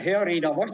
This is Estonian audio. Hea Riina!